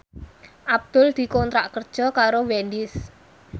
Abdul dikontrak kerja karo Wendys